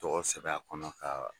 Tɔgɔ sɛbɛn a kɔnɔ ka